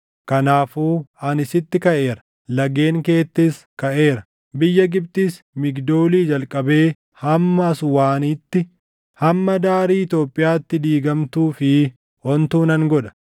kanaafuu ani sitti kaʼeera; lageen keettis kaʼeera; biyya Gibxis Migdoolii jalqabee hamma Aswaanitti, hamma daarii Itoophiyaatti diigamtuu fi ontuu nan godha.